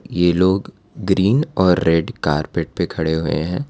ये लोग ग्रीन और रेड कार्पेट पर खड़े हुए हैं।